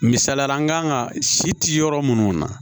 Misaliyala an kan ka si ci yɔrɔ munnu na